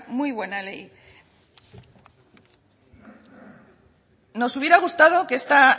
muy buena ley nos hubiera gustado que esta